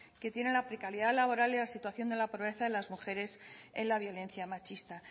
que tiene la precariedad laboral y la situación de la pobreza en las mujeres en la violencia machista